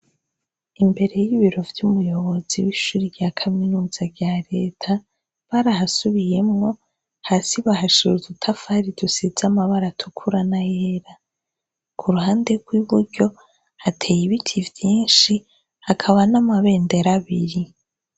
Imbere y'ibiro vy'umuyobozi w'ishuri rya kaminuza rya leta barahasubiyemwo hasi bahashuru dutafari dusiza amabara atukura na yera ku ruhande rw'iburyo hateye ibiti vyinshi hakaba n'amabendera biri.